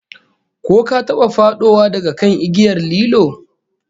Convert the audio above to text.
Ko ka taba fadowa daga kan igiyar lilo?